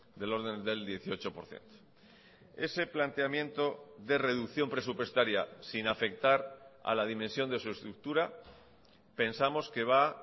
del orden del dieciocho por ciento ese planteamiento de reducción presupuestaria sin afectar a la dimensión de su estructura pensamos que va